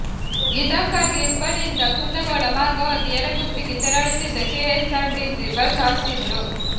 ಇದಕ್ಕಾಗಿ ಹುಬ್ಬಳ್ಳಿಯಿಂದ ಕುಂದಗೋಳ ಮಾರ್ಗವಾಗಿ ಯರಗುಪ್ಪಿಗೆ ತೆರಳುತ್ತಿದ್ದ ಕೆಎಸ್ಆರ್ ಟಿಸಿ ಬಸ್ ಹತ್ತಿದ್ರು